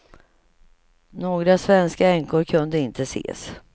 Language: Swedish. Några svenska änkor kunde inte ses.